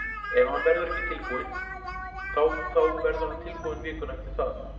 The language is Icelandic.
Ef hann verður ekki tilbúinn þá þá verður hann tilbúinn vikuna eftir það.